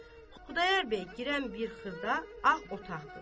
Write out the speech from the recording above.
Xudayar bəy girən bir xırda ağ otaqdır.